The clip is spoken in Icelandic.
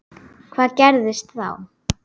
Hvað gerðist þá?